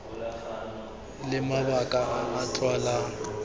le mabaka a a utlwalang